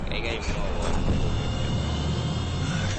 kaigai mwowon logoiwek chebo inguni